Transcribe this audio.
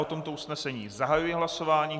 O tomto usnesení zahajuji hlasování.